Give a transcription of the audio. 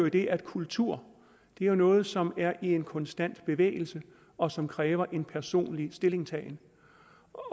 i det at kultur er noget som er i en konstant bevægelse og som kræver en personlig stillingtagen